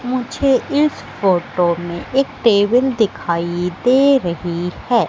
मुझे इस फोटो में एक टेबिल दिखाई दे रही है।